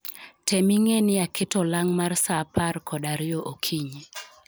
Tem ing'e ni aketo olang' mar saa apar kod ariyo okinyi